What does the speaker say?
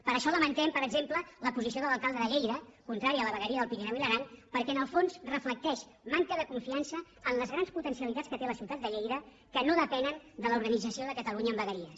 per això lamentem per exemple la posició de l’alcalde de lleida contrari a la vegueria del pirineu i l’aran perquè en el fons reflecteix manca de confiança en les grans potencialitats que té la ciutat de lleida que no depenen de l’organització de catalunya en vegueries